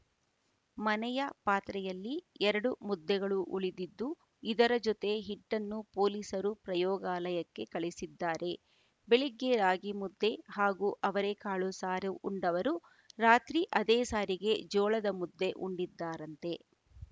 ಮನೆಯ ಪಾತ್ರೆಯಲ್ಲಿ ಎರಡು ಮುದ್ದೆಗಳು ಉಳಿದಿದ್ದು ಇದರ ಜೊತೆ ಹಿಟ್ಟನ್ನೂ ಪೊಲೀಸರು ಪ್ರಯೋಗಾಲಯಕ್ಕೆ ಕಳಿಸಿದ್ದಾರೆ ಬೆಳಗ್ಗೆ ರಾಗಿಮುದ್ದೆ ಹಾಗೂ ಅವರೇ ಕಾಳು ಸಾರು ಉಂಡವರು ರಾತ್ರಿ ಅದೇ ಸಾರಿಗೆ ಜೋಳದ ಮುದ್ದೆ ಉಂಡಿದ್ದಾರಂತೆ